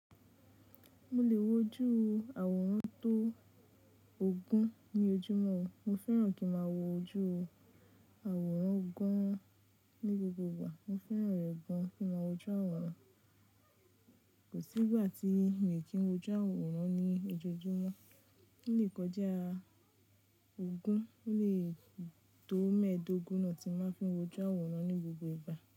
Mo lè wojú àwòrán tó ògùn ní ojúmọ́ o, mo fẹ́ràn kí ń máa wojú àwòrán gan-an ní gbogbo ìgbà. Mo fẹ́ràn rẹ̀ gan-an kí ń máa wojú àwòrán, kò sí ìgbà tí mi n kì í wojú àwòrán ní ojoojúmọ́. Ó lè kọjá ogún, ó lè tó mẹ́ẹ̀ẹ́dógún náà tí máa n fi ń wojú àwòrán ní gbogbo ìgbà.